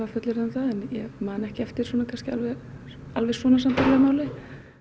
fullyrða um það en ég man ekki eftir alveg alveg svona sambærilegu máli